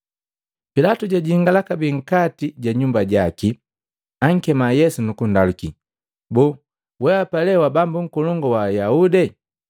Pilatu jajingala kabee nkati ja nyumba jaki, ankema Yesu nukundaluki, “Boo, wehapa lee wa Bambu Nkolongu wa Ayahude?”